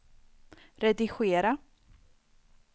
redigera